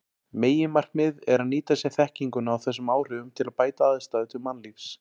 Meginmarkmiðið er að nýta sér þekkinguna á þessum áhrifum til að bæta aðstæður til mannlífs.